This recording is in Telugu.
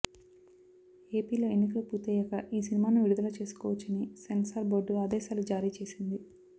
ఏపీలో ఎన్నికలు పూర్తయ్యాక ఈ సినిమాను విడుదల చేసుకోవచ్చని సెన్సార్ బోర్డు ఆదేశాలు జారీ చేసింది